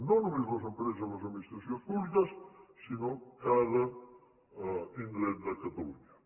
no només les empreses i les administracions públiques sinó cada indret de catalunya